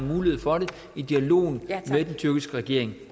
mulighed for det i dialogen med den tyrkiske regering